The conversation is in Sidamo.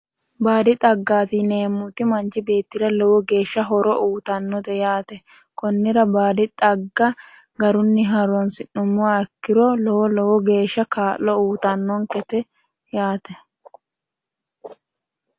baadi xaggaati yineemmoti manchi beettira lowo geeshsha horo uytannote yaate konnira baalinke baadi xagga garunni horonsi'nummoha ikkiro lowo lowo geeshsha kaa'lo uytannonkete yaate